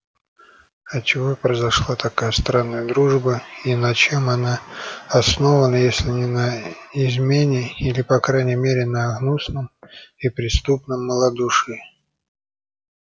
от чего произошла такая странная дружба и на чем она основана если не на измене или по крайней мере на гнусном и преступном малодушии